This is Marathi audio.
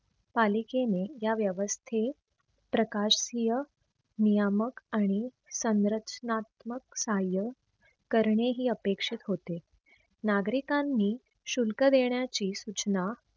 पालिकेने या व्यवस्थे प्रकाशीय, नियामक आणि संरक्षकनात्मक साह्य करणे ही अपेक्षित होते. नागरिकांनी शुल्क देण्याची सूचना